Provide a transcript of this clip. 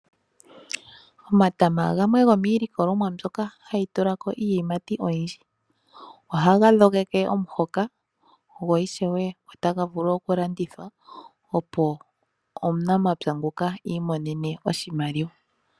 Omatama gamwe gomiilikolomwa mbyoka hayi tula ko iiyimati oyindji. Ohaga dhogeke omuhoka go ishewe otaga vulu oku landithwa opo omunamapya nguka iimonene oshimaliwa.